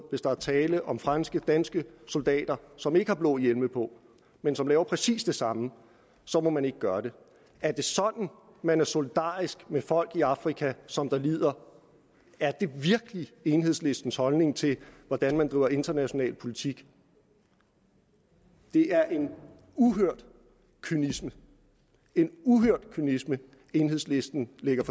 hvis der er tale om franske eller danske soldater som ikke har blå hjelme på men som laver præcis det samme må man ikke gøre det er det sådan man er solidarisk med folk i afrika som lider er det virkelig enhedslistens holdning til hvordan man driver international politik det er en uhørt kynisme en uhørt kynisme enhedslisten lægger